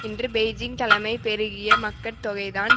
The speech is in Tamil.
இன்று பெய்ஜிங் தலைமை பெருகிய மக்கட்தொகைதான்